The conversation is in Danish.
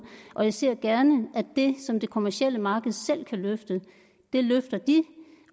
og jeg ser gerne at det som det kommercielle marked selv kan løfte løfter de